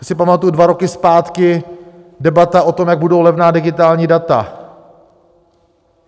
Já si pamatuji dva roky zpátky, debata o tom, jak budou levná digitální data.